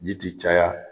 Ji ti caya